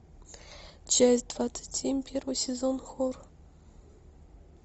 часть двадцать семь первый сезон хор